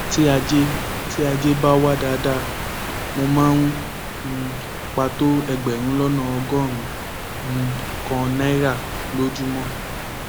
tí ajé tí ajé bá wà dáadáa mo máa ń um pa tó ẹgbẹrún lọnà ọgọrùnún um kan náírà lójúmọ